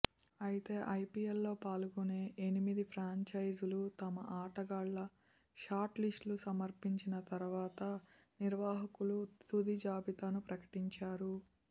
అయితే ఐపీఎల్లో పాల్గొనే ఎనిమిది ఫ్రాంచైజీలు తమ ఆటగాళ్ల షార్ట్లిస్ట్ను సమర్పించిన తరువాత నిర్వాహకులు తుది జాబితాను ప్రకటించారు